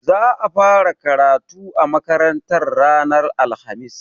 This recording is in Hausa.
Za a fara karatu a makarantar ranar alhamis.